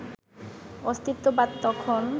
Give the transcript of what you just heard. অস্তিত্ববাদ তখন